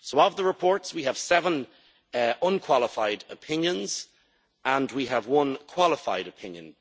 So, of the reports we have seven unqualified opinions and we have one qualified opinion.